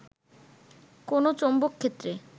কোন চৌম্বকক্ষেত্রে